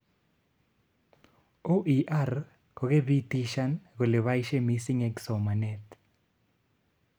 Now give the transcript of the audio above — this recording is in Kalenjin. OER kokepitishan kole baishe mising eng somanet